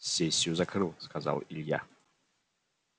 сессию закрыл сказал илья